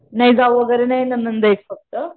नाही जाऊ वगैरे नाही नणंद आहे एक फक्त.